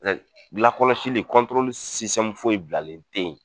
lakɔlɔsili foyi bilalen tɛ yen